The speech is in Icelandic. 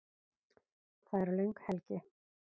Það er löng helgi.